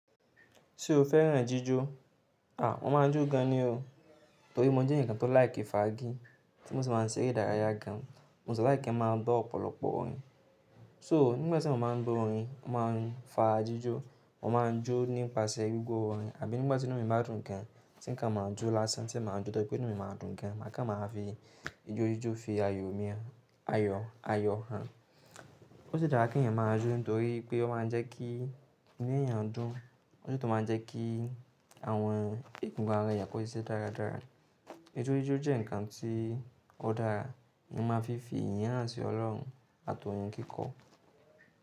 Ṣé o féràn jíjó? Mo máa ń jó gan ni o. Nítorí mo jẹ́ ǹkan tó láìkẹ́ fágí tí mo sì máa ń sẹ́rẹ́ ìdárayá gan an. Mo sì láìkẹ́ máa gbọ́ ọ̀pọ̀lọpọ̀ orin. So nígbà tí mo bá ń gbọ́ orin, mo máa ń fa jíjó, mo máa ń jó nípasẹ̀ gbogbo orin àbí nígbà tí inú mi bá dùn gan tí nǹkan máa ń jó lásán tí mo máa ń jó nítorí pé inú mi máa dùn gan. Màá kán máa fi ijójíjó fi ayọ̀ mi han. Ó ṣe dára kí ẹ̀yàn máa jó nítorí pé ó máa ń jẹ́ kí inú ẹ̀yàn dùn, ó sì tún máa ń jẹ́ kí àwọn ìgùn gan ara ẹ̀yàn kó ṣiṣẹ́ dáradára. Ijójíjó jẹ́ ǹkan tí ó dára, ni máa fi fi ìyànà sí Ọlọ́run àti orìn kíkọ.